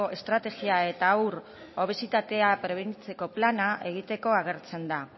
estrategia eta haur obesitatea prebenitzeko plana egiteko agertzen da